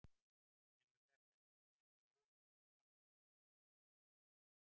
Kemur þetta Heimi ekki á óvart miðað við markaskorun Kolbeins fyrir Ísland?